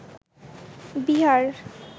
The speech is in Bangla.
বিহার